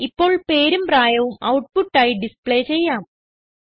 ഇപ്പോൾ പേരും പ്രായവും ഔട്ട്പുട്ട് ആയി ഡിസ്പ്ളെ ചെയ്യാം